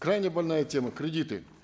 крайне больная тема кредиты